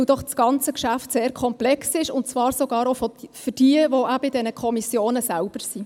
Denn das ganze Geschäft ist ja sehr komplex, und das sogar für diejenigen, welche selber in diesen Kommissionen sind.